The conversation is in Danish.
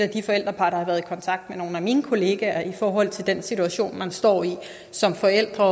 de forældrepar der har været i kontakt med nogle af mine kollegaer i forhold til den situation man står i som forældre